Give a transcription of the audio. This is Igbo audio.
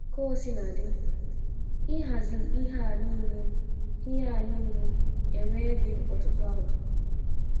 Kaosiladị, ịhazi ihe a nile ihe a nile ewee gị ọtụtụ awa!